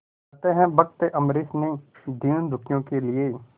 कहते हैं भक्त अम्बरीश ने दीनदुखियों के लिए